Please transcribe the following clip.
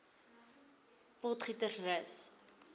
potgietersrus